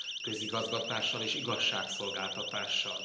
közigazgatással és igazságszolgáltatással.